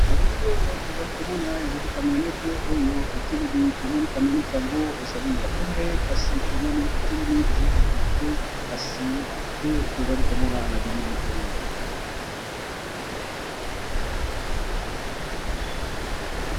Na bilili oyo tozali komona ezali camionete oyo etelemi, tomoni camionete yango ezali ya pembe kasi tomoni etelemi ezali kokende te kasi te tozali komona na bilili oyo.